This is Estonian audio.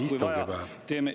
Kui vaja, siis teeme …